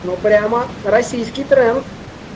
ну прямо российский тренд